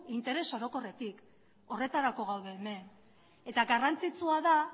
interes orokorrekin horretarako gaude hemen eta garrantzitsua da